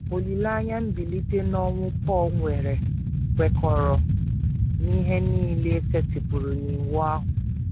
Olileanya mbilite n’ọnwụ Pọl nwere kwekọrọ “ n’ihe nile e setịpụrụ n’Iwu ahụ. ”